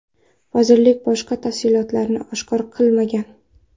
Vazirlik boshqa tafsilotlarni oshkor qilmagan.